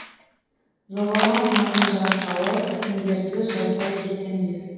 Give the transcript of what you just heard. жоғалмас мәңгі жарқылы сендерді жазбай кетем бе